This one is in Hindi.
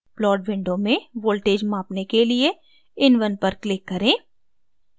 plot window में voltage मापने के लिए in1 पर click करें